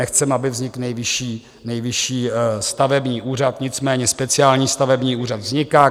Nechceme, aby vznikl Nejvyšší stavební úřad, nicméně speciální stavební úřad vzniká.